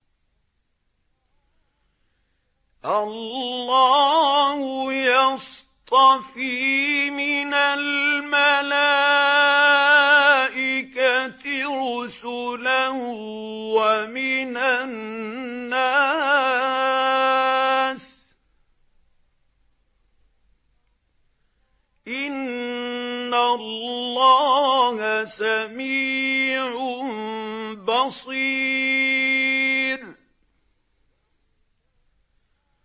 اللَّهُ يَصْطَفِي مِنَ الْمَلَائِكَةِ رُسُلًا وَمِنَ النَّاسِ ۚ إِنَّ اللَّهَ سَمِيعٌ بَصِيرٌ